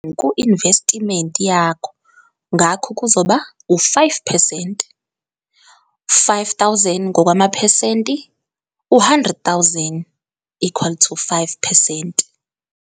Ku-investiment yakho ngakho kuzokuba u-5 percent, R5 000 ngokwamaphesenti u-R100 000 equal to 5 percent.